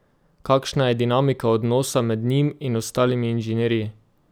Kakšna je dinamika odnosa med njim in ostalimi inženirji?